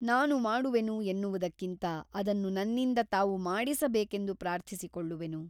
ನಾನು ಮಾಡುವೆನು ಎನ್ನುವುದಕ್ಕಿಂತ ಅದನ್ನು ನನ್ನಿಂದ ತಾವು ಮಾಡಿಸಬೇಕೆಂದು ಪ್ರಾರ್ಥಿಸಿಕೊಳ್ಳುವೆನು.